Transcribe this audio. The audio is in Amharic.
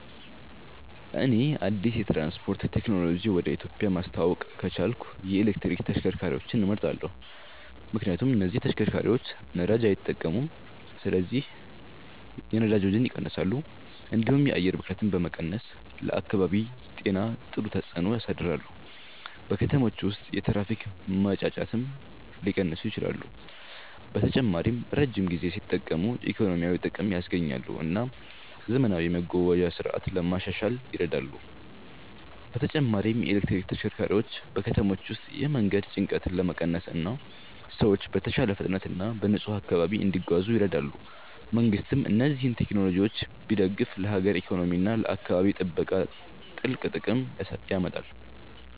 እኔ አዲስ የትራንስፖርት ቴክኖሎጂ ወደ ኢትዮጵያ ማስተዋወቅ ከቻልኩ የኤሌክትሪክ ተሽከርካሪዎችን እመርጣለሁ። ምክንያቱም እነዚህ ተሽከርካሪዎች ነዳጅ አይጠቀሙም ስለዚህ የነዳጅ ወጪን ይቀንሳሉ፣ እንዲሁም የአየር ብክለትን በመቀነስ ለአካባቢ ጤና ጥሩ ተጽዕኖ ያሳድራሉ። በከተሞች ውስጥ የትራፊክ ጫጫታንም ሊቀንሱ ይችላሉ። በተጨማሪም ረጅም ጊዜ ሲጠቀሙ ኢኮኖሚያዊ ጥቅም ያስገኛሉ እና ዘመናዊ የመጓጓዣ ስርዓት ለማሻሻል ይረዳሉ። በተጨማሪም የኤሌክትሪክ ተሽከርካሪዎች በከተሞች ውስጥ የመንገድ ጭንቀትን ለመቀነስ እና ሰዎች በተሻለ ፍጥነት እና በንጹህ አካባቢ እንዲጓዙ ይረዳሉ። መንግሥትም እነዚህን ቴክኖሎጂዎች ቢደግፍ ለሀገር ኢኮኖሚ እና ለአካባቢ ጥበቃ ትልቅ ጥቅም ያመጣል።